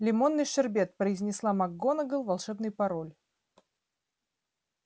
лимонный шербет произнесла макгонагалл волшебный пароль